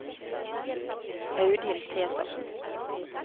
Audhild Petersen